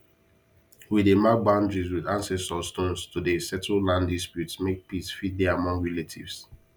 we dey mark boundaries with ancestor stones to dey settle land disputes make peace fit dey among relatives